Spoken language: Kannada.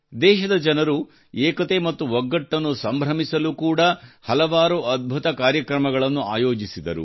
ದೇಶದ ಜನರು ಏಕತೆ ಮತ್ತು ಒಗ್ಗಟ್ಟನ್ನು ಆಚರಿಸಲು ಕೂಡ ಹಲವಾರು ಅದ್ಭುತ ಕಾರ್ಯಕ್ರಮಗಳನ್ನು ಆಯೋಜಿಸಿದರು